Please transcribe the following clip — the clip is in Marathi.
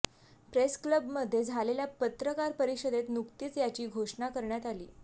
प्रेस क्लबमध्ये झालेल्या पत्रकार परिषदेत नुकतीच याची घोषणा करण्यात आली